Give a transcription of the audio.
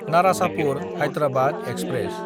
Narasapur-Hyderabad express